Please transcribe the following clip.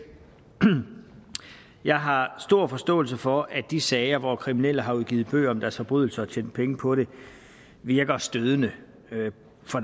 jeg har stor forståelse for at de sager hvor kriminelle har udgivet bøger om deres forbrydelser og tjent penge på dem virker stødende